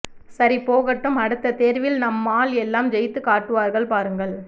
சரி போகட்டும் அடுத்த தேர்வில் நம்மாள் எல்லாம் ஜெயித்துக் காட்டுவார்கள் பாருங்கள்